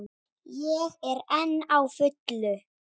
Ég er enn á fullu.